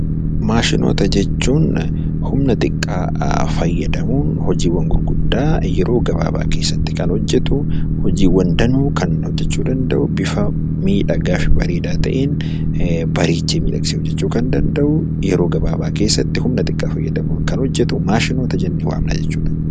Maashinoota jechuun humna xiqqaa fayyadamuun hojiiwwan gurguddaa yeroo gabaabaa keessatti kan hojjetu, hojiiwwan danuu kan hojjechuu danda'u, bifa miidhagaa fi bareedaa ta'een bareechee miidhagsee hojjechuu kan danda'u, yeroo gabaabaa keessatti humna xiqqaa fayyadamuun kan hojjetu maashinoota jennee waamna jechuu dha.